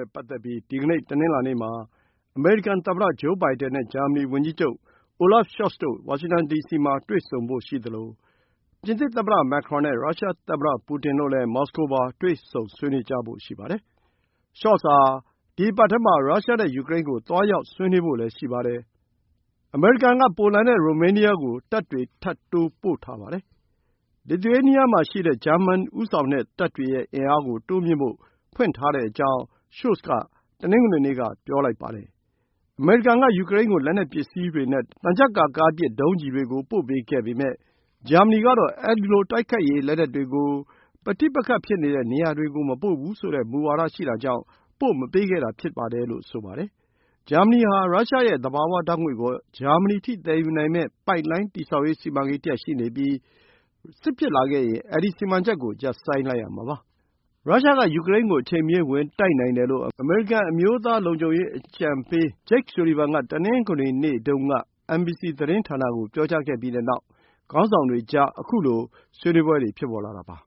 ဲ့ပတ်သက်ပြီး ဒီကနေ့ တနင်္လာနေ့မှာ အမေရိကန်သမ္မတ ဂျိုးဘိုင်ဒန်နဲ့ ဂျာမနီဝန်ကြီးချုပ် Olaf Scholz တို့ ဝါရှင်တန်ဒီစီမှာ တွေ့ဆုံဖို့ရှိသလို ပြင်သစ်သမ္မတ Macron နဲ့ ရုရှားသမ္မတပူတင်တို့လည်း မော်စကိုမှာ တွေ့ဆုံဆွေးနွေးကြဖို့ ရှိပါတယ်။ Scholz ဟာ ဒီ အပတ်ထဲမှာ ရုရှားနဲ့ ယူကရိန်းကို သွားရောက်ဆွေးနွေးဖို့လည်း ရှိပါတယ်။ အမေရိကန်က ပိုလန်နဲ့ ရိုမေးနီးယားကို တပ်တွေထပ်တိုးပို့ထားပါတယ်။ လစ်သူရေးနီးယား မှာရှိတဲ့ ဂျာမန်ဦးဆောင်တဲ့ တပ်တွေရဲ့အင်အားကို တိုးမြှင့်ဖို့ ဖွင့်ထားကြောင်း Scholz က တနင်္ဂနွေနေ့က ပြောခဲ့ပါတယ်။ အမေရိကန်က ယူကရိန်းကို လက်နက်ပစ္စည်းတွေနဲ့ သံချပ်ကာကားပစ် ဒုံးကျည်တွေကို ပို့ပေးခဲ့ပေမယ့် ဂျာမနီကတော့ အဲဒီလို တိုက်ခိုက်ရေးလက်နက်တွေကို ပဋိပက္ခဖြစ်နေတဲ့ နေရာတွေကို မပို့ဘူးဆိုတဲ့မူဝါဒရှိတာကြောင့် ပို့မပေးခဲ့တာ ဖြစ်ပါတယ်လို့ဆိုပါတယ်။ ဂျာမနီဟာ ရုရှားရဲ့သဘာဝဓာတ်ငွေ့ကို ဂျာမနီအထိသယ်ယူမယ့်ပိုက်လိုင်း တည်ဆောက်ရေး စီမံကိန်းတရပ်ရှိနေပြီး စစ်ဖြစ်လာခဲ့ရင် ဒီ စီမံချက်ကို ရပ်ဆိုင်းလိုက်ရမှာပါ။ ရုရှားက ယူကရိန်းကို အချိန်မရွေးဝင်တိုက်နိုင်တယ်လို့ အမေရိကန် အမျိုးသားလုံခြုံရေး အကြံပေးအရာရှိ Jake Sullivan က တနင်္ဂနွေနေ့တုန်းက NBC သတင်းဌာနကို ပြောကြားခဲ့ပြီးတဲ့နောက် ခေါင်းဆောင်တွေကြား ခုလို ဆွေးနွေးပွဲတွေ ဖြစ်ပေါ်လာတာပါ